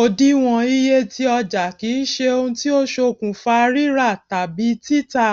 òdiwòn iye ti ọjà kìí ṣe ohun tí ó ṣokùnfà rírà tàbí títà